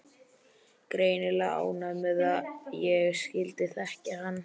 Greinilega ánægð með að ég skyldi þekkja hann.